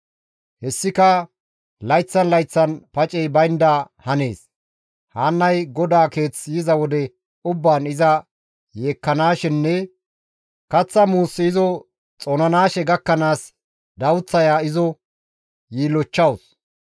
Hessika layththan layththan pacey baynda hanees; Haannay GODAA keeth yiza wode ubbaan iza yeekkanaashenne kaththa muussi izo xoonanaashe gakkanaas dawuththaya izo yiillochchawus.